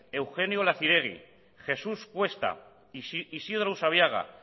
eugenio olaciregui jesús cuesta isidro usabiaga